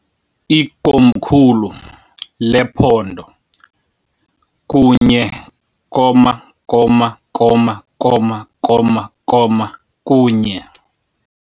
Ikomkhulu lephondo, kunye koma koma koma koma koma kunye .